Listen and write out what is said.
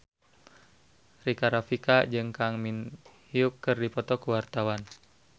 Rika Rafika jeung Kang Min Hyuk keur dipoto ku wartawan